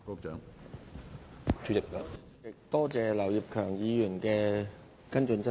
主席，多謝劉業強議員提出補充質詢。